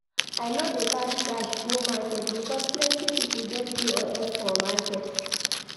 I no dey carry cash go market because plenty pipo get POS for market.